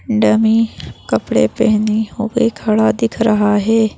Dummy कपड़े पहने हुए खड़ा दिख रहा है।